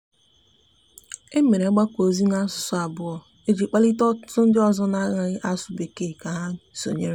e mere ogbako ozi na asụsụ abuo iji kpalite ọtụtụ ndi ọzọ n'anaghi asụ bekee ka ha sonyere.